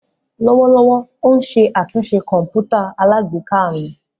Lọwọlọwọ o n ṣe atunṣe kọǹpútà alágbèéká mi.